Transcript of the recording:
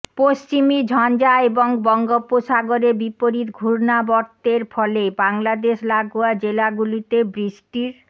পশ্চিমী ঝঞ্ঝা এবং বঙ্গোপসাগরে বিপরীত ঘূর্ণাবর্তের ফলে বাংলাদেশ লাগোয়া জেলাগুলিতে বৃষ্টির